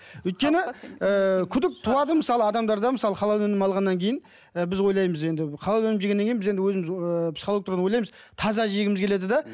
өйткені ыыы күдік туады мысалы адамдарда мысалы халал өнімін алғаннан кейін ы біз ойлаймыз енді халал өнімін жегеннен кейін біз енді өзіміз ы психологиялық тұрғыдан ойлаймыз таза жегіміз келеді де